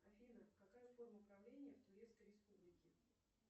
афина какая форма правления в турецкой республике